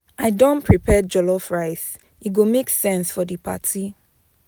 I don prepare jollof rice, e go make sense for di party.